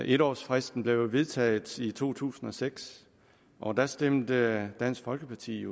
en års fristen blev jo vedtaget i to tusind og seks og der stemte dansk folkeparti